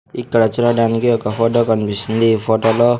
ఇక్కడ చూడడానికి ఒక ఫోటో కనిపిస్తుంది ఈ ఫోటోలో --